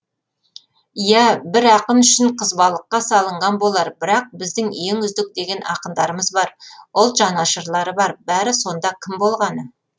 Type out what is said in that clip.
иә бір ақын үшін қызбалыққа салынған болар бірақ біздің ең үздік деген ақындарымыз бар ұлт жанашырлары бар бәрі сонда кім болғаны